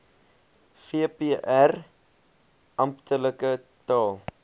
vpr amptelike taal